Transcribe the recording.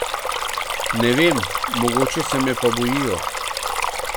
Ne vem, mogoče se me pa bojijo.